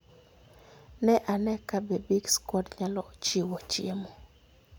Ne ane kabe Big Square nyalo chiwo chiemo.